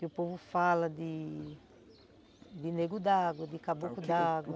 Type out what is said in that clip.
Que o povo fala de... de nego d'água, de caboclo d'água.